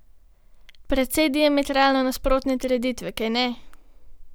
Precej diametralno nasprotne trditve, kajne?